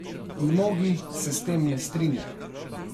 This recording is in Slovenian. Mnogi se s tem ne strinjajo.